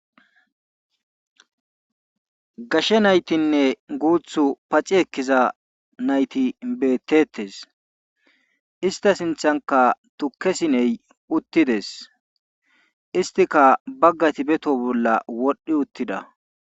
Gashe naytinne guuthtu paxxi ekkiza nayti betetees. Istta sinththanka tukke sine uttidees. istikka bagati be toho bolla wodhi uttida.